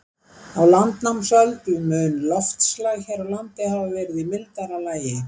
Á landnámsöld mun loftslag hér á landi hafa verið í mildara lagi.